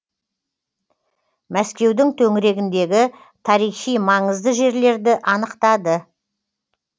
мәскеудің төңірегіндегі тарихи маңызды жерлерді анықтады